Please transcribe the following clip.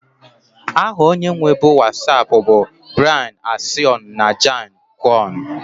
Aha onye nwebu Wasapu bu Brian Acion na Jan koum